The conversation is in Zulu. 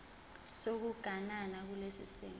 sokuganana kulesi simo